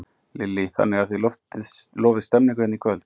Lillý Valgerður: Þannig að þið lofið stemningu hérna í kvöld?